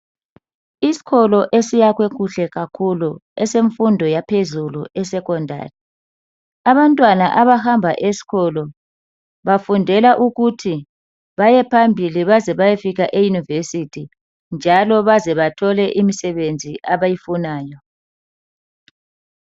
Isikolo esiyakwe kuhle kakhulu esemfundo yaphezulu e 'secondary '. Abantwana abahamba eskolo bafundela ukuthi bayephambili baze bayefika eyunivesithi njalo batholo imisebenzi abayifunayo.